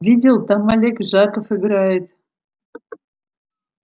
видел там олег жаков играет